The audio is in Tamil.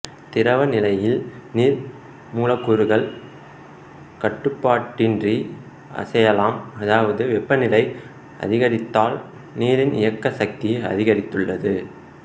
திரவ நிலையில் நீர் மூலக்கூறுகள் கட்டுப்பாடின்றி அசையலாம் அதாவது வெப்பநிலை அதிகரித்ததால் நீரின் இயக்க சக்தி அதிகரித்துள்ளது